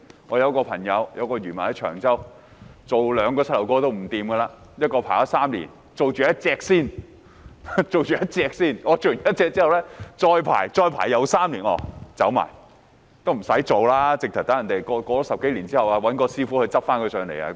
我有位朋友，是一名漁民，居於長洲，他兩個膝蓋也不妥，輪候了3年其中一個膝蓋才能接受手術，然後要再輪候3年才做另一個膝蓋的手術，接着他就離世。